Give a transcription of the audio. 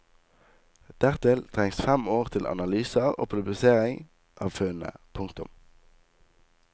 Dertil trengs fem år til analyser og publisering av funnene. punktum